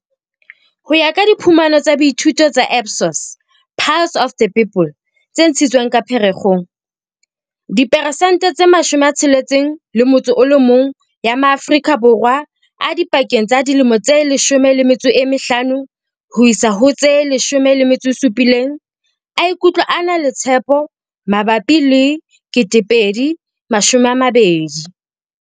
Ho ya ka diphumano tsa boithuto tsa Ipsos Pulse of the People tse ntshitsweng ka Pherekgong, diperesente tse 61 ya ma-Aforika Borwa a dipakeng tsa dilemo tse 15 ho isa ho tse 17 a ikutlwa a na le tshepo mabapi le 2020.